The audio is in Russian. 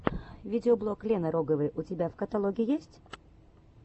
видеоблог лены роговой у тебя в каталоге есть